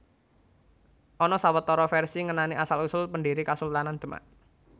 Ana sawetara vèrsi ngenani asal usul pendhiri Kasultanan Demak